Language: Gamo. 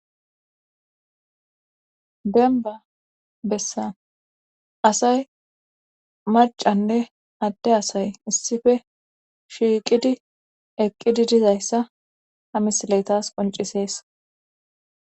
denba bessa asay macanne adde asay issife shiiqidi eqqidi dizayssa ha misileytas qoncisees